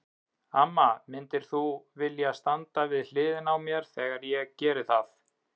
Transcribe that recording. Amma, myndir þú vilja standa við hliðina á mér þegar ég geri það?